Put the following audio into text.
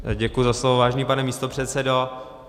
Děkuji za slovo, vážený pane místopředsedo.